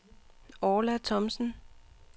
Orla Thomsen